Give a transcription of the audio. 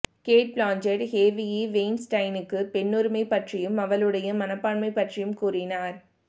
gate Blanchett Harvey வெய்ன்ஸ்டைனுக்கு பெண்ணுரிமை பற்றியும் அவளுடைய மனப்பான்மை பற்றியும் கூறினார்